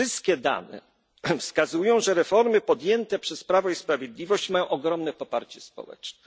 Wszystkie dane wskazują na to, że reformy podjęte przez Prawo i Sprawiedliwość mają ogromne poparcie społeczne.